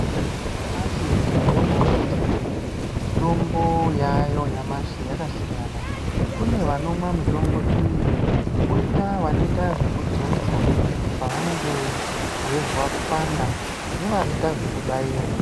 Nyamashi taona kuti, mitombo yaayo nyamashi yakasiyana. Kune vanomwa mitombo iyi ,kwoita vanoita zvekudzodza, pavanenge veizwa kupanda ,nevanoita zvekubairwa.